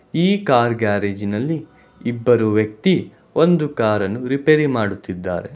ಈ ಕಾರ್ ಗ್ಯಾರೇಜಿನಲ್ಲಿ ಇಬ್ಬರು ವ್ಯಕ್ತಿ ಒಂದು ಕಾರನ್ನು ರಿಪೇರಿ ಮಾಡುತ್ತಿದ್ದಾರೆ.